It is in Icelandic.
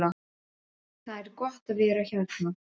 Það er gott að vera hérna.